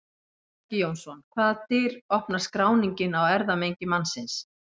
Helgi Jónsson Hvaða dyr opnar skráningin á erfðamengi mannsins?